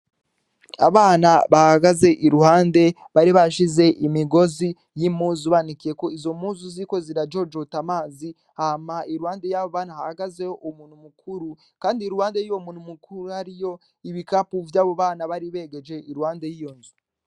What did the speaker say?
Abana bahagaze iruhande bari bashize imigozi y'imuzu banikiye ko izo muzu ziko zirajojota amazi hama iruwande y'abo banu hahagazeho uu muntu mukuru, kandi i ruwande y'uwo muntu mukuru hariyo ibikapu vy'abu bana baribegeje iruwande y'iyo nzu.